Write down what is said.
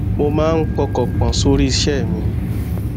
mo máa ń pọkàn pò sórí iṣé mi